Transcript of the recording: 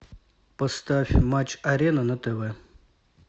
поставь матч арена на тв